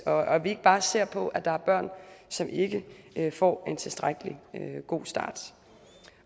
og at vi ikke bare ser på at der er børn som ikke får en tilstrækkelig god start